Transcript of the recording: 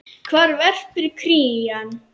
Hvar verpir krían?